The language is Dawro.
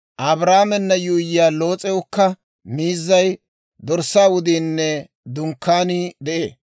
Abraamena yuuyyiyaa Loos'ewukka miizzay, dorssaa wudiinne dunkkaanii de'ee.